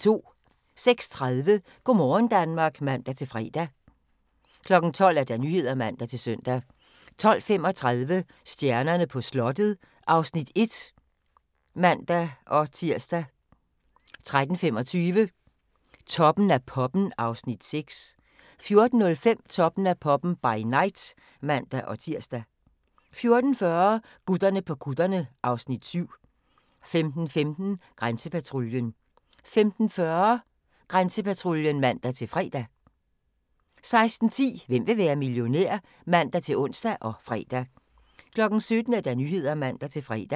06:30: Go' morgen Danmark (man-fre) 12:00: Nyhederne (man-søn) 12:35: Stjernerne på slottet (Afs. 1)(man-tir) 13:25: Toppen af poppen (Afs. 6) 14:05: Toppen af poppen – by night (man-tir) 14:40: Gutterne på kutterne (Afs. 7) 15:15: Grænsepatruljen 15:40: Grænsepatruljen (man-fre) 16:10: Hvem vil være millionær? (man-ons og fre) 17:00: Nyhederne (man-fre)